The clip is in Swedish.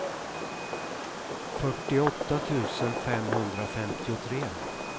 fyrtioåtta tusen femhundrafemtiotre